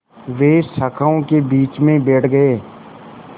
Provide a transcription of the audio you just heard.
वे शाखाओं के बीच में बैठ गए